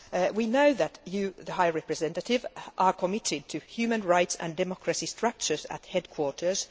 We know that you, the High Representative, are committed to human rights and democratic structures at headquarters.